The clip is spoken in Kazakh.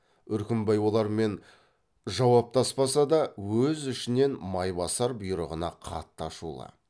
үркімбай олармен жауаптаспаса да өз ішінен майбасар бұйрығына қатты ашулы